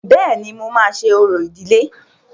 Bẹ́ẹ̀ni, mo máa ṣe orò ìdílé.